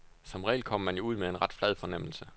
Som regel kommer man jo ud med en ret flad fornemmelse.